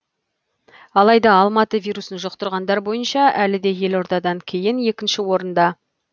алайда алматы вирусын жұқтырғандар бойынша әлі де елордадан кейін екінші орында